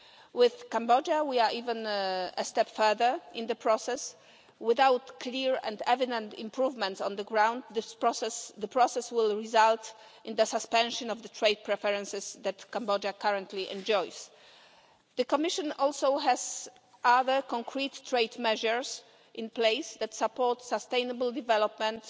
With Cambodia, we are even a step further in the process. Without clear and evident improvements on the ground, the process will result in the suspension of the trade preferences that Cambodia currently enjoys. The Commission also has other concrete trade measures in place that support sustainable development